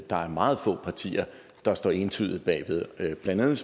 der er meget få partier der står entydigt bag ved blandt andet